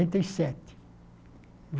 e sete